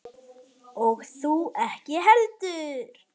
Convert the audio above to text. Og þú ekki heldur.